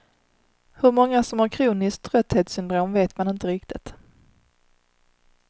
Hur många som har kroniskt trötthetssyndrom vet man inte riktigt.